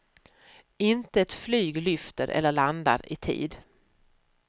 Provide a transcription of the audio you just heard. Inte ett flyg lyfter eller landar i tid.